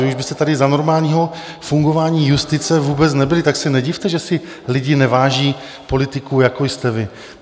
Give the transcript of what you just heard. Vy už byste tady za normálního fungování justice vůbec nebyli, tak se nedivte, že si lidé neváží politiků, jako jste vy.